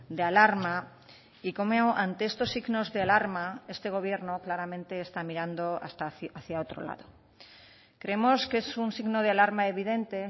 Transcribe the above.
de alarma y como ante estos signos de alarma este gobierno claramente está mirando hacia otro lado creemos que es un signo de alarma evidente